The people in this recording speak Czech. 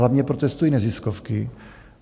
Hlavně protestují neziskovky.